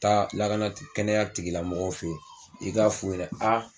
Taa lakana kɛnɛya tigilamɔgɔw fɛ yen i ka f'u ɲɛna